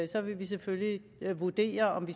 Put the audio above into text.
så vil vi selvfølgelig vurdere om